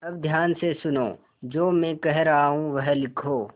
अब ध्यान से सुनो जो मैं कह रहा हूँ वह लिखो